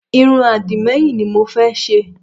Irun àdìmẹ́yìn ni mo fẹ́ ṣe